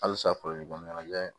Halisa kɔnɔna na